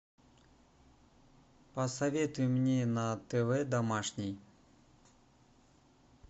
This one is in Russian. посоветуй мне на тв домашний